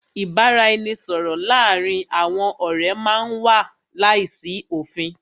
Ìbáraẹnisọ̀rọ̀ láàárín àwọn ọ̀rẹ́ má n wà láìsí òfin.